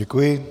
Děkuji.